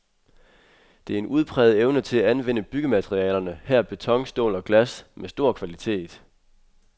Det er en udpræget evne til at anvende byggematerialerne, her beton, stål og glas, med stor kvalitet.